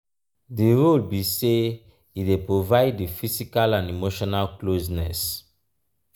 di role be say e dey provide di physical and emotional closeness.